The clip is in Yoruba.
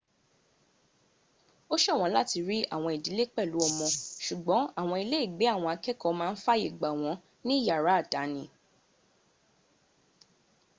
ósọ̀wọ́n láti rí àwọn ìdílé pẹ̀lú ọmọ ṣùgbọ́n àwọn iléègbé àwọn akẹ́ẹ̀kọ́ máa ń fàyè gbà wọn ní yàrá àdáni